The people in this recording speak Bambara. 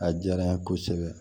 A diyara n ye kosɛbɛ